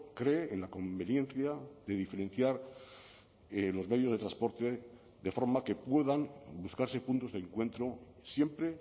cree en la conveniencia de diferenciar los medios de transporte de forma que puedan buscarse puntos de encuentro siempre